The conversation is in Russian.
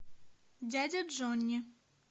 дядя джонни